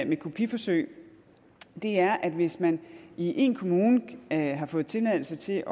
med kopiforsøg er at hvis man i en kommune har fået tilladelse til